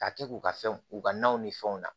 Ka kɛ k'u ka fɛnw k'u ka naw ni fɛnw na